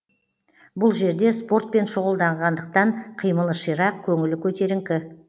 бұл жерде спортпен шұғылданғандықтан қимылы ширақ көңілі көтеріңкі